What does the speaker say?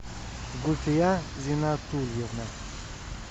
гульфия зинатульевна